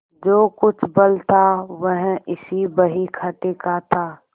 जो कुछ बल था वह इसी बहीखाते का था